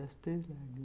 As Três Lágrimas.